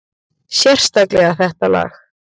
Sérstaklega þetta lag.